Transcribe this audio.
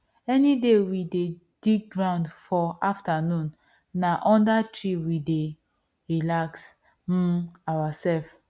any day we dey dig ground for afternoon na under tree we dey relax um ourselves